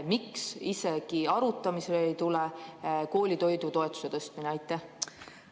Miks ei tule koolitoidutoetuse tõstmine isegi arutamisele?